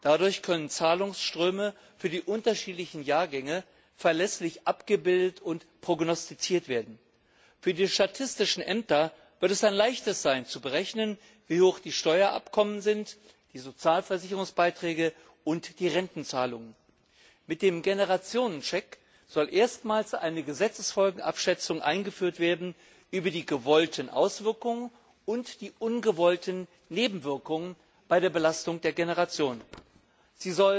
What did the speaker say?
Dadurch können Zahlungsströme für die unterschiedlichen Jahrgänge verlässlich abgebildet und prognostiziert werden. Für die Statistischen Ämter wird es ein Leichtes sein zu berechnen, wie hoch die Steueraufkommen, die Sozialversicherungsbeiträge und die Rentenzahlungen sind. Mit dem Generationencheck soll erstmals eine Gesetzesfolgenabschätzung über die gewollten Auswirkungen und die ungewollten Nebenwirkungen bei der Belastung der Generationen eingeführt werden.